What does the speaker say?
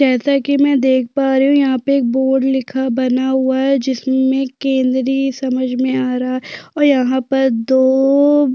जैसा की मै देख पा रही हूँ यहाँ पे एक बोर्ड लिखा बना हुआ है जिसमे केंद्री समझ आ रहा है और यहाँ पर दो --